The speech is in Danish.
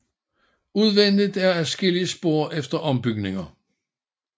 Udvendigt er adskillige spor efter ombygninger